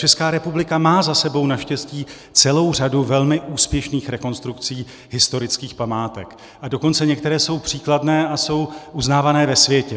Česká republika má za sebou naštěstí celou řadu velmi úspěšných rekonstrukcí historických památek, a dokonce některé jsou příkladné a jsou uznávané ve světě.